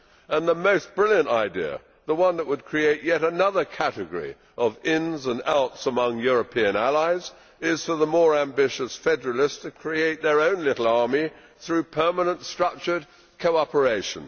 and the most brilliant idea, the one that would create yet another category of ins and outs among European allies, is for the more ambitious federalists to create their own little army through permanent structured cooperation.